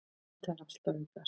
Þetta er allt að aukast.